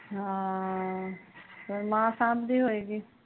ਹਮ ਫੇਰ ਮਾਂ ਸੰਬਦੀ ਹੋਏਗੀ